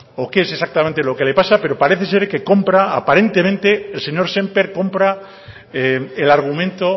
o qué es exactamente lo que le pasa pero parece ser que compra aparentemente el señor sémper compra el argumento